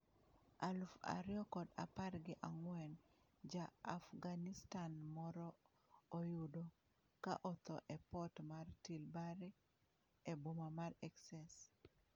aluf ariyo kod apar gi ang'wen: Ja-Afghanistan moro oyudo ka otho e port mar Tilbury, e boma mar Essex.